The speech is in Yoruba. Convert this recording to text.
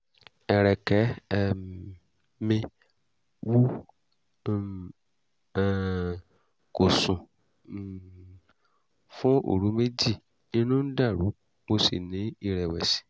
ẹ̀rẹ̀kẹ́ um mi wú n um kò sùn um fún òru méjì inú ń dàrú mo sì ní ìrẹ̀wẹ̀sì